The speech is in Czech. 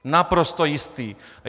Naprosto jistý!